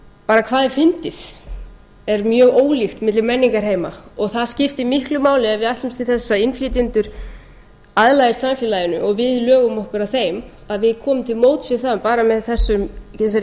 hvað er fyndið er mjög ólíkt milli menningarheima og það skiptir miklu máli ef við ætlumst til þess að innflytjendur aðlagist samfélaginu og við lögum okkur að þeim að við komum til móts við það bara með þessari kynningu